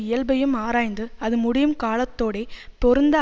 இயல்பையும் ஆராய்ந்து அதுமுடியுங் காலத்தோடே பொருந்த